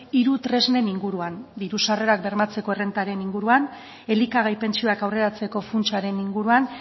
hiru tresnen inguruan diru sarrerak bermatzeko errentaren inguruan elikagai pentsioak aurreratzeko funtsaren inguruan